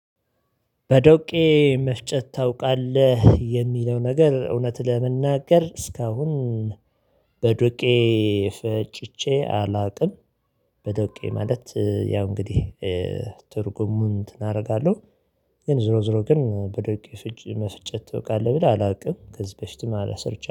በዶቄ መፍጨት ታውቃለህ የሚለው ነገር እውነት ለመናገር እስካሁን በዱቄ ፈጭቼ አላቅም፤። በዱቄ ማለት ያው እንግዲህ ትርጉሙን እንትን አደርጋለሁ ግን ዙሮ ዙሮ ግን በድርቅ ፍጭ መፍጨት ታውቃለህ ብለህ አላውቅም ከዚህ በፊትም አለ ሰርቻ